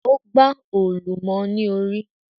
O gba òòlù mọ ní orí